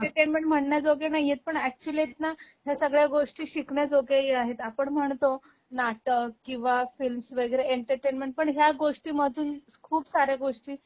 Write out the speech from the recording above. ते एंटरटेनमेंट म्हणण्याजोगे नाहीयेत पण अॅक्चुअली ना ह्या सगळ्या गोष्टी शिकण्याजोगे ही आहेत. आपण म्हणतो नाटक किंवा फिल्म्स वैगरे एंटरटेनमेंट पण ह्या गोष्टीमधून खूप साऱ्या गोष्टी